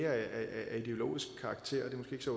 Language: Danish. af ideologisk karakter